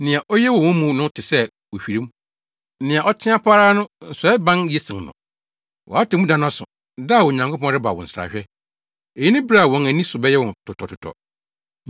Nea oye wɔ wɔn mu no te sɛ ohwirem; nea ɔteɛ pa ara no, nsɔeban ye sen no. Wʼatemmuda no aso, da a Onyankopɔn reba wo nsrahwɛ. Eyi ne bere a wɔn ani so bɛyɛ wɔn totɔtotɔ.